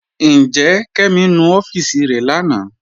Njẹ́, Kẹmi nú ọfiísì rẹ̀ lánà?